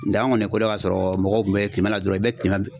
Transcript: Nga an kɔni ye ko don ka sɔrɔ mɔgɔw kun bɛ tileman la dɔrɔn i bɛ tileman